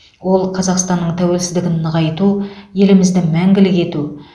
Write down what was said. ол қазақстанның тәуелсіздігін нығайту елімізді мәңгілік ету